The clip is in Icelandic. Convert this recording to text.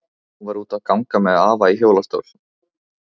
Hún var úti að ganga með afa í hjólastól.